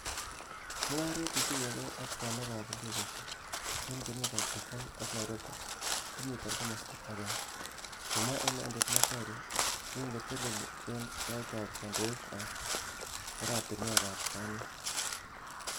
"Mungaret netinye gee ak bonwekab indegeisiek en kwenutab Dubai ak Nairobi komi komosto agenge,"Kimwa inendet Macharia yekikotelel en taitab kondoik ab oratinwek ak bonwek.